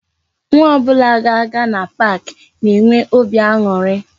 Nwa ọbụla ga-aga na pak na-enwe óbị aṅụrị